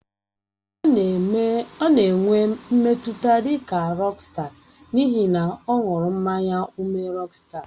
Ọ nọ na-enwe mmetụta dị ka rọksta n'ihi na ọ ṅụrụ mmanya ụme rọksta.